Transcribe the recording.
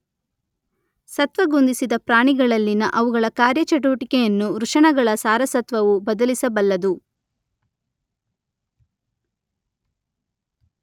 ಸತ್ತ್ವಗುಂದಿಸಿದ ಪ್ರಾಣಿಗಳಲ್ಲಿನ ಅವುಗಳ ಕಾರ್ಯಚಟುವಟಿಕೆಯನ್ನು ವೃಷಣಗಳ ಸಾರಸತ್ವವು ಬದಲಿಸಬಲ್ಲದು